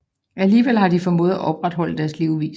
Alligevel har de formået at opretholde deres levevis